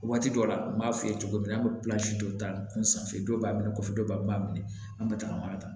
Waati dɔw la n b'a f'i ye cogo min na an be dɔ ta kun sanfɛ dɔ b'a minɛ kɔfɛ dɔ be b'a minɛ an be tagama ta